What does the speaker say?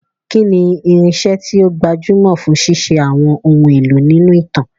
Kí ni irinṣẹ́ tí ó gbajúmọ̀ fún ṣíṣe àwọn ohun èlò nínú ìtàn?